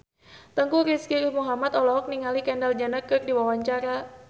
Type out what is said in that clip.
Teuku Rizky Muhammad olohok ningali Kendall Jenner keur diwawancara